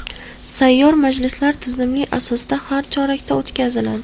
Sayyor majlislar tizimli asosda har chorakda o‘tkaziladi.